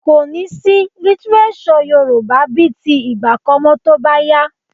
Kò ní sí lítíréṣọ̀ Yorùbá bíi ti ìgbà kan mọ́ tó bá yá